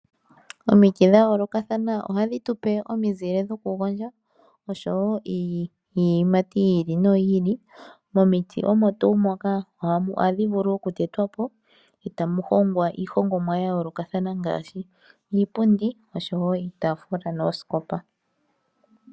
Omiti dha yoolokathana ohadhi tu pe omizile dhokugondja oshowo iiyimati yi ili noyi ili. Momiti omo tuu moka ohadhi vulu okutetwa po, e ta mu hongwa iihongomwa ya yoolokathana ngaashi iipundi, oshowo iitafula noosikopa.